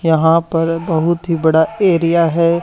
यहां पर बहुत ही बड़ा एरिया है।